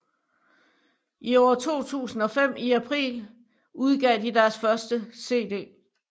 I år 2005 i april udgav de deres første cd